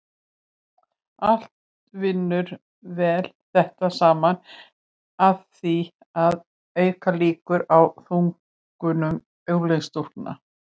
allt vinnur þetta saman að því að auka líkur á þungunum unglingsstúlkna